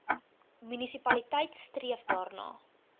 munisipaliteit streef daarna